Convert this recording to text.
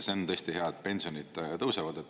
See on tõesti hea, et pensionid tõusevad.